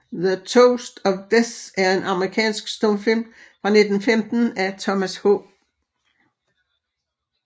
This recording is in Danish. The Toast of Death er en amerikansk stumfilm fra 1915 af Thomas H